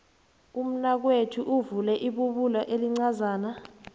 umnakwethu uvule ibubulo elincazana